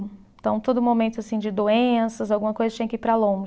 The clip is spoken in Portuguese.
Então, todo momento assim de doenças, alguma coisa tinha que ir para